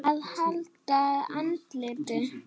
AÐ HALDA ANDLITI